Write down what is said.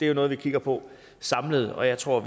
er noget vi kigger på samlet og jeg tror at